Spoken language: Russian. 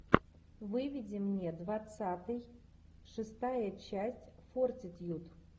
выведи мне двадцатый шестая часть фортитьюд